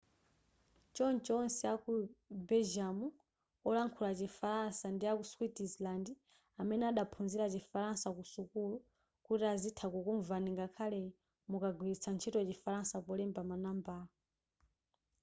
choncho onse aku belgium olankhula chi falansa ndi aku switzerland amene adaphunzira chifalansa ku sukulu kuti azitha kukumvani ngakhale mukagwilitsa ntchito chifalansa polemba ma nambala